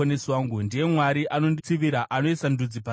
Ndiye Mwari anonditsivira, anoisa ndudzi pasi pangu,